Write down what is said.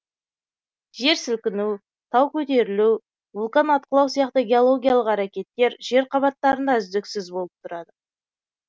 жер сілкіну тау көтерілу вулкан атқылау сияқты геологиялық әрекеттер жер қабаттарында үздіксіз болып тұрады